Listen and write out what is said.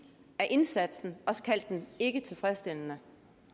af indsatsen og kaldt den ikke tilfredsstillende